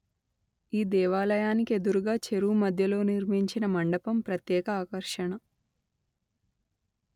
ఈ దేవాలయానికి ఎదురుగా చెరువు మధ్యలో నిర్మించిన మండపం ప్రత్యేక ఆకర్షణ